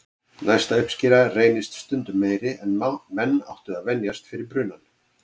Næsta uppskera reynist stundum meiri en menn áttu að venjast fyrir brunann.